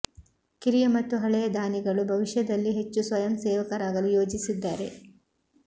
ಕಿರಿಯ ಮತ್ತು ಹಳೆಯ ದಾನಿಗಳು ಭವಿಷ್ಯದಲ್ಲಿ ಹೆಚ್ಚು ಸ್ವಯಂ ಸೇವಕರಾಗಲು ಯೋಜಿಸಿದ್ದಾರೆ